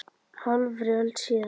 Hálfri öld síðar.